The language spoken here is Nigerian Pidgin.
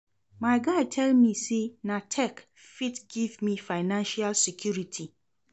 My guy tell me sey na tech fit give me financial security.